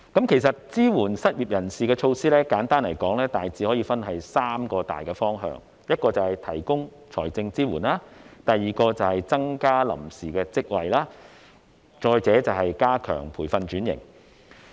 其實，支援失業人士的措施，簡單來說大致可以分三大方向：第一，提供財政支援；第二，增加臨時職位；第三，加強培訓轉型。